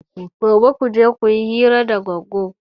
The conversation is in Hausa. Gobe kuje kuyi hira da Goggo!